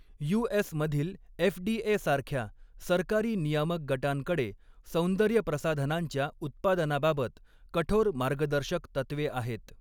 यू.एस.मधील एफ.डी.ए.सारख्या सरकारी नियामक गटांकडे सौंदर्यप्रसाधनांच्या उत्पादनाबाबत कठोर मार्गदर्शक तत्त्वे आहेत.